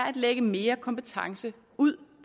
at lægge mere kompetence ud